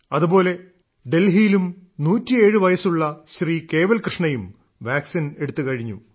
അതുപോലെ ഡൽഹിയിലും 107 വയസ്സുള്ള ശ്രീ കേവൽകൃഷ്ണയും വാക്സിൻ എടുത്തുകഴിഞ്ഞു